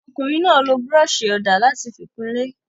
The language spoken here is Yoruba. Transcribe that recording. Ọkùnrin náà lo búrọ́ṣì-ọ̀dà láti fi kun ilé?